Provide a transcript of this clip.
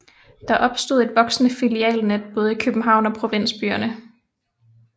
Der opstod et voksende filialnet både i København og provinsbyerne